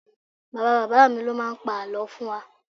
Bàbá bàbá mi ló máa ń pa àlọ́ fún wa